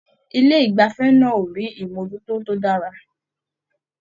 Ilé igbafẹ̀ náà o rí imojuto tó dára.